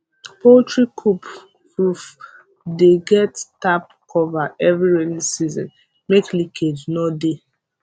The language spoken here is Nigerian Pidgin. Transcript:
poultry coop roof dey get tarp cover every rainy season make leakage nor de